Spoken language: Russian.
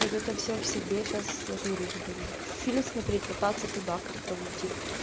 вот это все в себе сейчас я ж говорю буду фильм смотреть пытаться туда как-то уйти